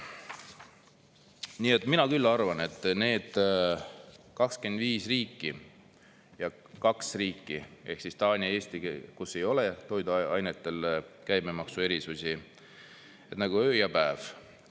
Nii et mina küll arvan, et need 25 riiki ja kaks riiki ehk siis Taani ja Eesti, kus ei ole toiduainetele käibemaksu erisusi, on nagu öö ja päev.